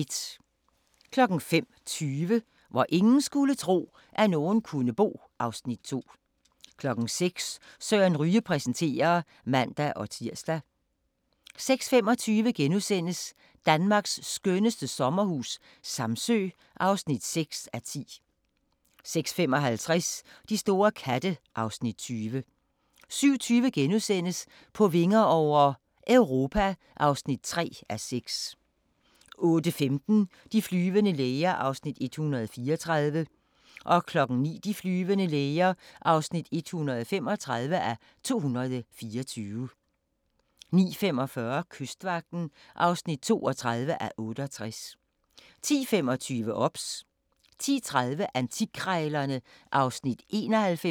05:20: Hvor ingen skulle tro, at nogen kunne bo (Afs. 2) 06:00: Søren Ryge præsenterer (man-tir) 06:25: Danmarks skønneste sommerhus - Samsø (6:10)* 06:55: De store katte (Afs. 20) 07:20: På vinger over - Europa (3:6)* 08:15: De flyvende læger (134:224) 09:00: De flyvende læger (135:224) 09:45: Kystvagten (32:68) 10:25: OBS 10:30: Antikkrejlerne (Afs. 91)